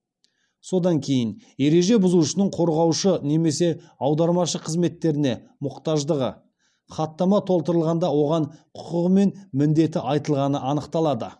содан кейін ереже бұзушының қорғаушы немесе аудармашы қызметтеріне мұқтаждығы хаттама толтырылғанда оған құқығы мен міндеті айтылғаны анықталады